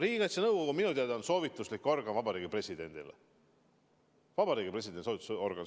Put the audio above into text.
Riigikaitse Nõukogu minu teada on soovitusliku iseloomuga, see on Vabariigi Presidendi soovituslik organ.